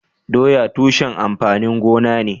Doya tushen amfanin gona ne.